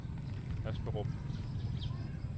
Asperup